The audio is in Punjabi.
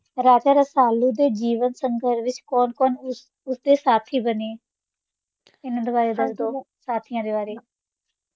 ਹਾਂਜੀ ਹਾਂਜੀ, ਠੀਕ ਹੈ ਤੇ ਕਿਹੜੀਆਂ ਗੱਲਾ ਤੋਂ ਪਤਾ ਲੱਗਦਾ ਹੈ ਕੀ ਰਸਾਲੂ ਆਜ਼ਾਦ ਤਬੀਅਤ ਦਾ ਮਾਲਕ ਸੀ? ਰਾਜਾ ਰਸਾਲੁ ਦੇ ਜੀਵਨ ਸੰਘਰਸ਼ ਵਿੱਚ ਕੌਣ ਕੌਣ ਉਸਦੇ ਸਾਥੀ ਬਨੇ? ਉਹਨਾਂ ਬਾਰੇ ਦੱਸੋ, ਸਾਥੀਆ ਬਾਰੇ